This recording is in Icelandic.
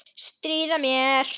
Stríða mér.